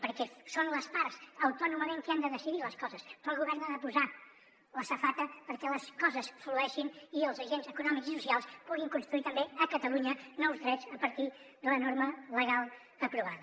perquè són les parts autònomament qui han de decidir les coses però el govern ha de posar la safata perquè les coses flueixin i els agents econòmics i socials puguin construir també a catalunya nous drets a partir de la norma legal aprovada